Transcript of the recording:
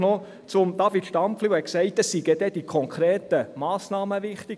Noch zu David Stampfli, der gesagt hat, die konkreten Massnahmen seien wichtig.